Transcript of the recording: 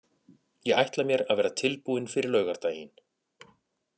Ég ætla mér að vera tilbúinn fyrir laugardaginn.